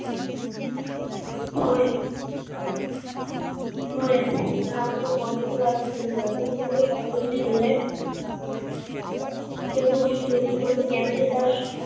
হয়ে হয়ে রাম চোখ বন্ধ করে আছে ইন্দুবালা চোখ খুললে সক্কলে যদি চলে যাই চোদ্দ গুষ্ঠি কঠিন ভাবে কেন যে পাস